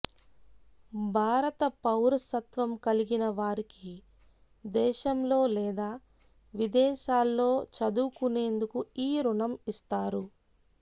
భారత పౌరసత్వం కలిగిన వారికి దేశంలో లేదా విదేశాల్లో చదువుకునేందుకు ఈ రుణం ఇస్తారు